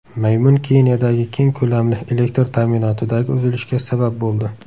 Maymun Keniyadagi keng ko‘lamli elektr ta’minotidagi uzilishga sabab bo‘ldi.